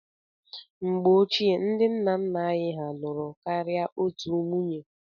Mgbe ochie, ndị nna nna anyị hà lụrụ karịa otù nwunye.